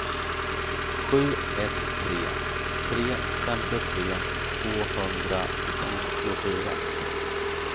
sju ett tre tre femtiotre tvåhundranittiofyra